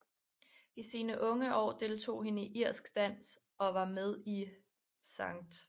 I sine unge år deltog hun i irsk dans og var med i St